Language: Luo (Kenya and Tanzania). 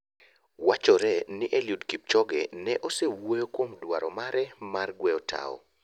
Wachore ni Eliud Kipchoge ne osewuoyo kuom dwaro mare mar gweyo toa.